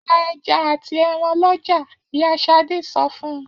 Ra ẹja àti ẹran lọ́jà! Ìyá Ṣadé sọ fún un.